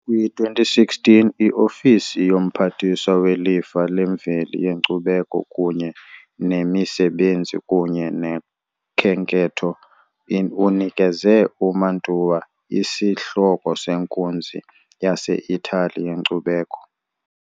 Kwi-2016, i-Ofisi yoMphathiswa weLifa leMveli yeNkcubeko kunye neMisebenzi kunye noKhenketho unikeze uMantua isihloko senkunzi yaseItali yenkcubeko.